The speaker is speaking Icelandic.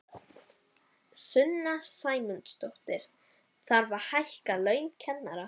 Sunna Sæmundsdóttir: Þarf að hækka laun kennara?